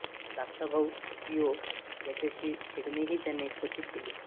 धाकटा भाऊ थिओ याच्याशी खेळणेही त्याने क्वचित केले